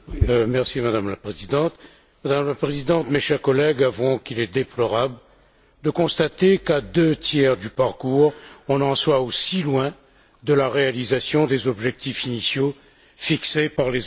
Madame la Présidente, mes chers collègues, avouons qu'il est déplorable de constater qu'à deux tiers du parcours, on en soit aussi loin de la réalisation des objectifs initiaux fixés par les OMD.